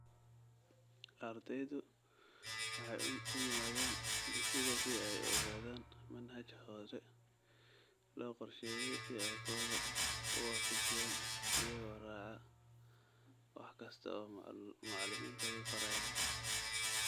Ardaydu waxay u yimaadeen dugsiga si ay u ogaadaan manhaj hore loo qorsheeyay si ay kooda u waafajiyaan iyagoo raacaya wax kasta oo macalimiintoodu farayaan.